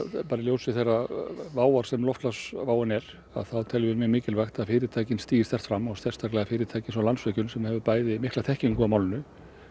í ljósi þeirrar sem loftslagsváin er þá teljum við mikilvægt að fyrirtækin stígi sterkt fram og sérstaklega fyrirtæki eins og Landsvirkjun sem hefur bæði mikla þekkingu á málinu